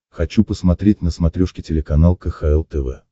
хочу посмотреть на смотрешке телеканал кхл тв